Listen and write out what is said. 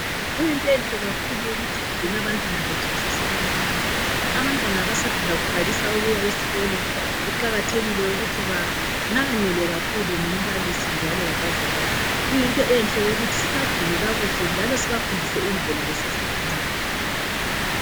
Kuyinto enhle kakhulu ukuthi sigcine abantwana bethu besasebancane, abantwana abasanda kuqalisa esikolo kuqakathekile ukuthi banakanelwe kakhulu ngumbalisi njalo labazali. Kuyinto enhle ukuthi sibagcine kakuhle njalo sibafundise indlela besase bancani